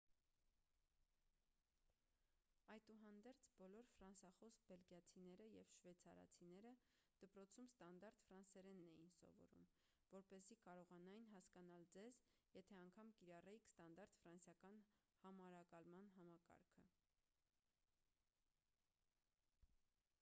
այդուհանդերձ բոլոր ֆրանսախոս բելգիացիները և շվեցարացիները դպրոցում ստանդարտ ֆրանսերենն էին սովորում որպեսզի կարողանային հասկանալ ձեզ եթե անգամ կիրառեիք ստանդարտ ֆրանսիական համարակալման համակարգը